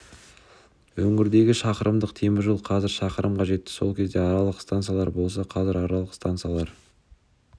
өңірдегі шақырымдық темір жол қазір шақырымға жетті сол кезде аралық стансалар болса қазір аралық стансалар